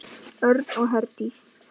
Örn og Herdís.